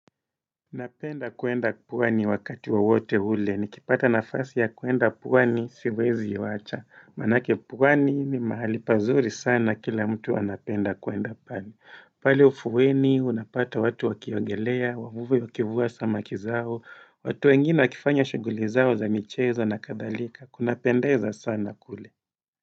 Napenda kuenda pwani wakati wowote ule, nikipata nafasi ya kuenda pwani siwezi wacha. Manake pwani ni mahali pazuri sana kila mtu anapenda kuenda pale. Pale ufuoni, unapata watu wakiongelea, wavuvi wakivua samaki zao, watu wengine wakifanya shuguli zao za michezo na kadhalika, kunapendeza sana kule.